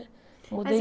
Mudei